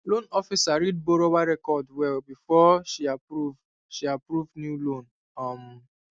loan officer read borrower record well before she approve she approve new loan um